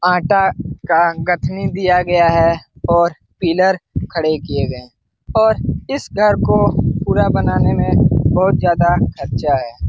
आंटा दिया गया हे और पीलर खड़े किये गए हे और इस घर को पूरा बनाने में बहुत ज्यादा खर्चा है ।